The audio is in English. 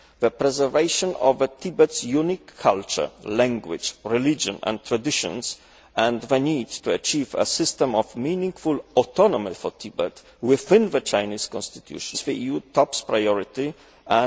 The preservation of Tibet's unique culture, language, religion and traditions and the need to achieve a system of meaningful autonomy for Tibet, within the Chinese constitution, remains a top priority for the EU.